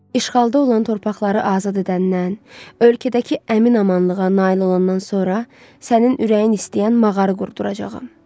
İşğalda olan torpaqları azad edəndən, ölkədəki əmin-amanlığa nail olandan sonra sənin ürəyin istəyən mağarı qurduracağam.